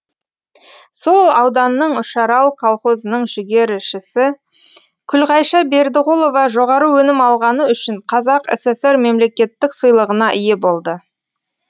сол ауданның үшарал колхозының жүгерішісі күлғайша бердіғұлова жоғары өнім алғаны үшін қазақ сср мемлекеттік сыйлығына ие болды